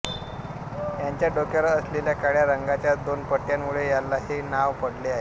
याच्या डोक्यावर असलेल्या काळ्या रंगाच्या दोन पट्ट्यांमुळे याला हे नाव पडले आहे